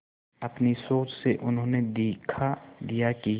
अपनी सोच से उन्होंने दिखा दिया कि